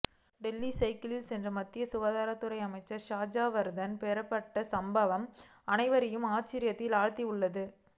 டெல்லியில் சைக்கிளில் சென்று மத்திய சுகாதாரத்துறை அமைச்சராக ஹர்ஷ்வர்தன் பொறுப்பேற்ற சம்பவம் அனைவரையும் ஆச்சரியத்தில் ஆழ்த்தியுள்ளது